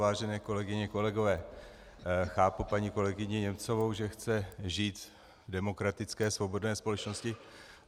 Vážené kolegyně, kolegové, chápu paní kolegyni Němcovou, že chce žít v demokratické svobodné společnosti.